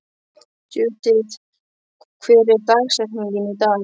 Judith, hver er dagsetningin í dag?